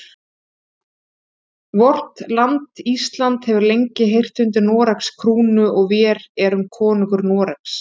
Vort land Ísland hefur lengi heyrt undir Noregs krúnu og vér erum konungur Noregs.